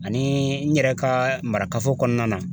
Ani n yɛrɛ ka marakafo kɔnɔna na